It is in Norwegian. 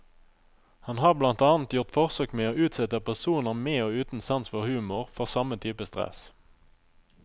Han har blant annet gjort forsøk med å utsette personer med og uten sans for humor for samme type stress.